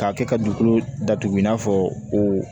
K'a kɛ ka dugukolo datugu i n'a fɔ o